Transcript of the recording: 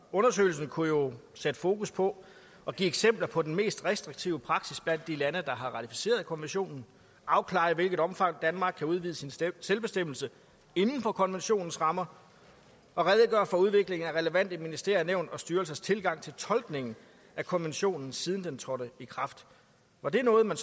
undersøgelsen kunne jo sætte fokus på og give eksempler på den mest restriktive praksis blandt de lande der har ratificeret konventionen afklare i hvilket omfang danmark kan udvide sin selvbestemmelse inden for konventionens rammer og redegøre for udviklingen af relevante ministeriers nævns og styrelsers tilgang til tolkningen af konventionen siden den trådte i kraft var det noget man